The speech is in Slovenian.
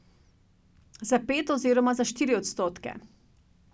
Za pet oziroma za štiri odstotke.